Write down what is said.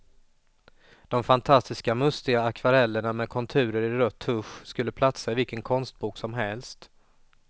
De fantastiska, mustiga akvarellerna med konturer i rött tusch skulle platsa i vilken konstbok som helst.